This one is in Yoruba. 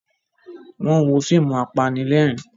Wọ́n wo fíìmù apanílẹ̀rín.